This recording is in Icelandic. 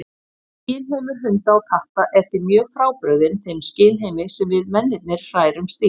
Skynheimur hunda og katta er því mjög frábrugðinn þeim skynheimi sem við mennirnir hrærumst í.